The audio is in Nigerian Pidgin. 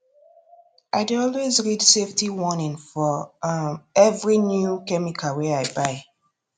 i dey always read safety warning for um every new chemical wey i buy